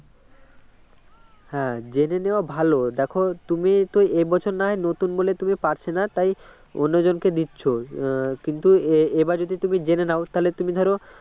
হ্যাঁ জেনে নেওয়া ভাল দেখো তুমি তো এবছর নাহয় নতুন বলে তুমি পারছে না তাই অন্য জনকে দিচ্ছ কিন্তু এ বার যদি তুমি জেনে নাও তাহলে তুমি ধরো